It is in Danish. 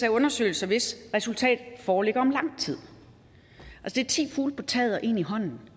af undersøgelser hvis resultat foreligger om lang tid det er ti fugle på taget og én i hånden